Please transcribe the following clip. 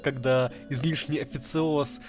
когда излишний официоз